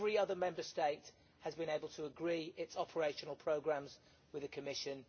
Every other Member State has been able to agree its operational programmes with the Commission.